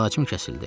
Əlaqəm kəsildi.